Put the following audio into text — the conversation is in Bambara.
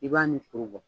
I b'a ni suru bɔ